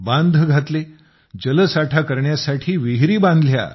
Check dam बनवले जल साठा करण्यासाठी विहिरी बांधल्या